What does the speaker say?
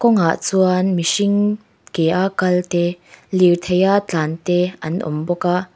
kawngah chuan mihring ke a kal te lirtheia tlân te an awm bawk a.